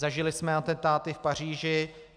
Zažili jsme atentáty v Paříži.